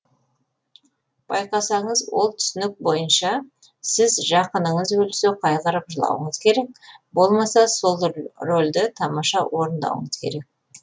байқасаңыз ол түсінік бойынша сіз жақыныңыз өлсе қайғырып жылауыңыз керек болмаса сол рольді тамаша орындауыңыз керек